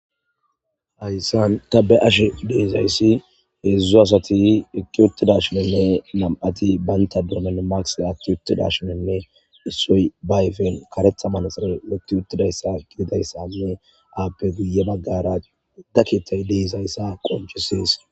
hayssan ta be ashe deeizayssi heedzdzu asati ekki uttida shinenne nam7ati baynta doomen maks atti uttida shinenne issoy bayfen karetha manaxare mutti uttidayssa gididayssanne aappe guye baggara udda ketay deezayssa qonchisees